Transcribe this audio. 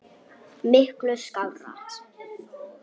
Miklu skárra.